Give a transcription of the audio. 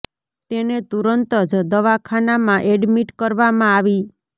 તેને તુરંત જ દવાખાના મા એડમિટ કરવા મા આવી